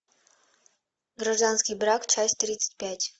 гражданский брак часть тридцать пять